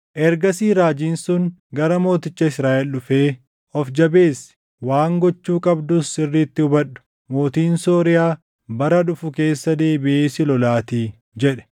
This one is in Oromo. Ergasii raajiin sun gara mooticha Israaʼel dhufee, “Of jabeessi; waan gochuu qabdus sirriitti hubadhu; mootiin Sooriyaa bara dhufu keessa deebiʼee si lolaatii” jedhe.